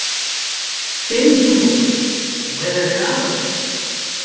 Fimm tungumál, og meira að segja arabísku!